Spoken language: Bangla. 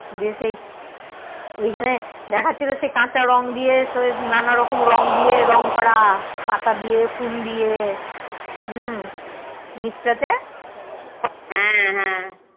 গিয়ে সেই ঐখানে দেখাচ্ছিল সে কাঁচা রং দিয়ে নানা রকম রং দিয়ে রং করা পাতা দিয়ে ফুল দিয়ে হুম নিচ টাতে